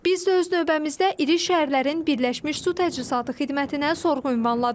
Biz də öz növbəmizdə iri şəhərlərin Birləşmiş Su Təchizatı Xidmətinə sorğu ünvanladıq.